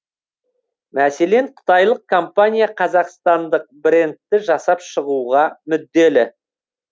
мәселен қытайлық компания қазақстандық брендті жасап шығуға мүдделі